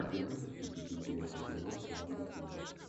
ты можешь включить интересный фильмас жанра триллер